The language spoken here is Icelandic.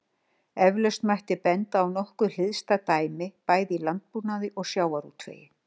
Eflaust mætti benda á nokkuð hliðstæð dæmi bæði í landbúnaði og sjávarútvegi.